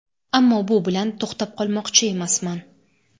Ammo bu bilan to‘xtab qolmoqchi emasman.